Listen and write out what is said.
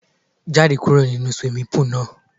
Jáde kúrò nínu swimming pool náà!